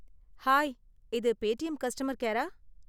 Hi, இது Paytm customer கேரா?